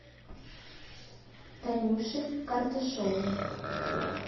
танюши карташовой